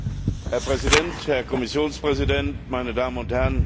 Herr Präsident, Herr Kommissionspräsident, meine Damen und Herren!